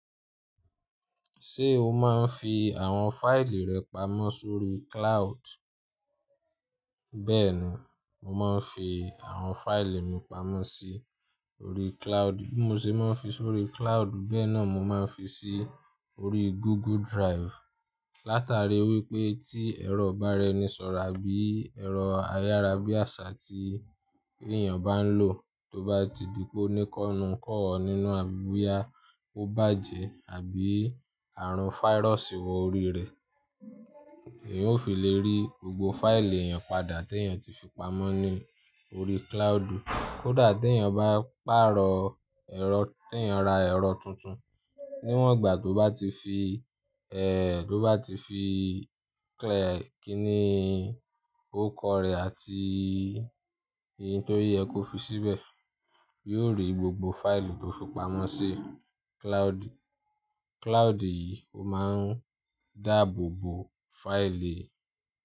Ṣé o máa ń fi àwọn fáìlì rẹ pamọ́ sórí cloud? Bẹ́ẹ̀ni, mo máa ń fi àwọn fáìlì mi pamọ́ sórí cloud. Bí mo ṣe máa ń fi sórí cloud, bẹ́ẹ̀ náà mo máa ń fi si órí Google Drive. Látàrí wípé tí ẹ̀rọ ibára eni sọ̀rọ̀ àbí ẹ̀rọ ayárabíàṣá tí èèyàn bá ń lò tó bá ti dí pe ní kọ́nú kọ̀ ọ́ nínú àbí bóyá ó bàjẹ́ àbí àrùn fáírọ̀ṣì wọ orí rẹ̀, èèyàn ó fi lè rí gbogbo fáìlì èèyàn padà tí èèyàn ti fi pamọ́ ní orí cloud. Kódà tí èèyàn bá pàrọ̀ ẹ̀rọ tí èèyàn ra ẹ̀rọ tuntun, níwọ̀n ìgbà tó bá ti fi, ẹ́, tó bá ti fi kíní órukọ rẹ̀ àti ohun tó yẹ kó fi síbẹ̀, yóò rí gbogbo fáìlì tó fi pamọ́ sí cloud. Cloud yìí ó máa ń dáàbò bo fáìlì.